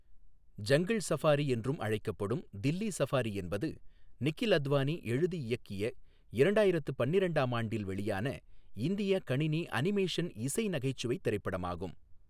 Jungle safari என்றும் அழைக்கப்படும் Delhi safari என்பது நிகில் அத்வானி எழுதி இயக்கிய இரண்டாயிரத்து பன்னிரண்டாம் ஆண்டு வெளியான இந்திய கணினி அனிமேஷன் இசை நகைச்சுவைத் திரைப்படமாகும்.